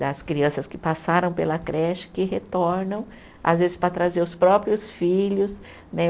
Das crianças que passaram pela creche, que retornam, às vezes para trazer os próprios filhos, né?